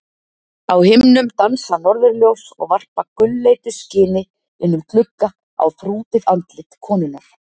Á himnum dansa norðurljós og varpa gulleitu skini inn um glugga á þrútið andlit konunnar.